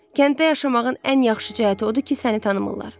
Kənddə yaşamağın ən yaxşı cəhəti odur ki, səni tanımırlar.